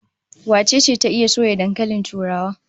Wace ce ta iya soya dankalin turawa?